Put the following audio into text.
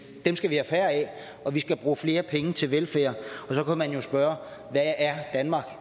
dem skal vi have færre af og vi skal bruge flere penge til velfærd så kan man jo spørge